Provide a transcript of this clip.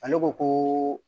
Ale ko ko